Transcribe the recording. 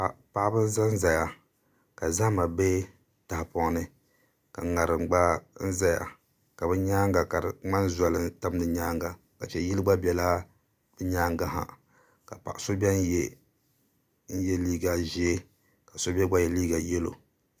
Paɣaba n ʒɛmʒɛya ka zahama bɛ tahapɔŋ ni ka ŋarim gba ʒɛya ka di nyaanga ka di ŋmani zoli n tam di nyaanga a lihi yili gba biɛla di nyaangi ha ka paɣa so biɛni yɛ liiga ʒiɛ ka so mii gba yɛ liiga yɛlo